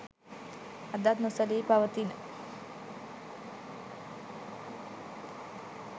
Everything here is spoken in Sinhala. අදත් නොසැලී පවතින